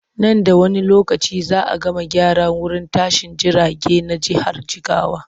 Nan da wani lokaci za a gama gyara wurin tashin jirage na jihar jigawa.